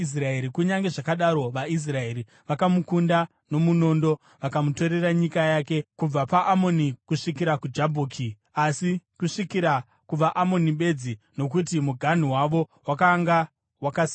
Kunyange zvakadaro, vaIsraeri vakamukunda nomunondo vakamutorera nyika yake kubva paAnoni kusvikira kuJabhoki, asi kusvikira kuvaAmoni bedzi, nokuti muganhu wavo wakanga wakasimba.